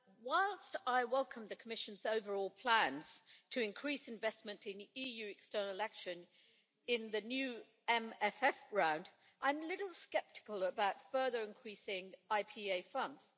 Whilst I welcome the Commission's overall plans to increase investment in EU external action in the new MFF round, I'm a little sceptical about further increasing IPA funds.